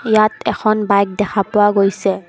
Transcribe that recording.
ইয়াত এখন বাইক দেখা পোৱা গৈছে।